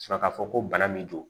Sɔrɔ k'a fɔ ko bana min don